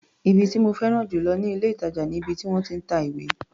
Ibi tí mo féràn jù lọ ní ilé-ìtàjà ni ibi tí wọ́n ti ń ta ìwé.